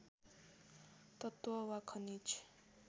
तत्त्व वा खनिज